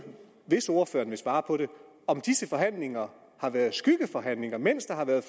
hvis ordføreren vil svare på det om disse forhandlinger har været skyggeforhandlinger mens der har været